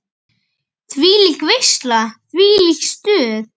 Þvílík veisla, þvílíkt stuð.